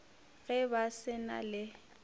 ge ba se na le